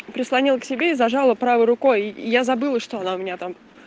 прислонил к себе и зажало правой рукой я забыла что она у меня там